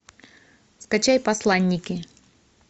скачай посланники